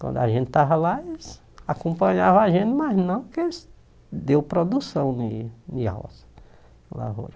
Quando a gente estava lá, eles acompanhavam a gente, mas não que eles deram produção de de ro na roça.